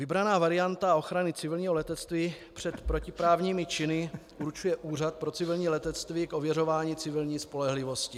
Vybraná varianta ochrany civilního letectví před protiprávními činy určuje Úřad pro civilní letectví k ověřování civilní spolehlivosti.